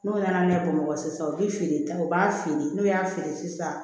N'o nana ne bamakɔ sisan u bi feere ta u b'a feere n'u y'a feere sisan